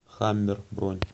хаммер бронь